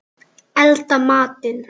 Elda matinn.